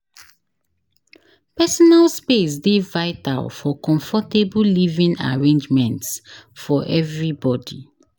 Personal space dey vital for comfortable living arrangements for everybody.